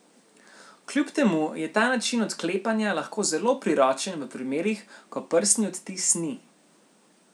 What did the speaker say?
Kljub temu je ta način odklepanja lahko zelo priročen v primerih, ko prstni odtis ni.